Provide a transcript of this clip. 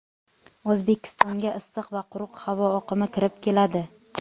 O‘zbekistonga issiq va quruq havo oqimi kirib keladi.